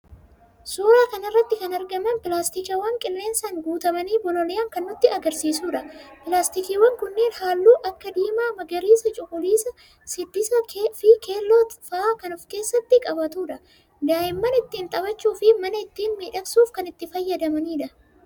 suuraa kana irratti kan argaman pilaastikiiwwan qilleensaan guutamanii bololi'an kan nutti agarsiisu dha. pilaastikiiwwan kunniin halluu akka diimaa, magariisa, cuquliisaa, siddisaafi keelloo fa'a kan ofkeessatti qabudha. daa'imman ittiin taphachuufi mana ittiin miidhagsuuf kan itti fayyadamnudha.